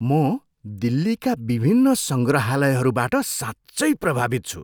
म दिल्लीका विभिन्न सङ्ग्रहालयहरूबाट साँच्चै प्रभावित छु।